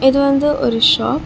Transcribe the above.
இது வந்து ஒரு ஷாப் .